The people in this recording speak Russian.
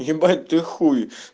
ебать ты хуй